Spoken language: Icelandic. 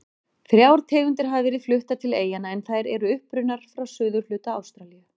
Þrjár tegundir hafa verið fluttar til eyjanna en þær eru upprunnar frá suðurhluta Ástralíu.